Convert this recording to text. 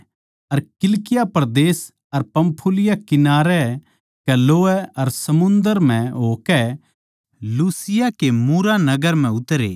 अर किलिकिया परदेस अर पंफूलिया किनारै कै लोवै कै समुन्दर म्ह होकै लूसिया के मूरा नगर म्ह उतरे